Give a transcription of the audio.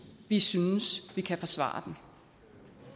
vi synes vi kan forsvare den